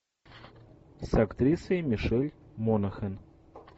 с актрисой мишель монахэн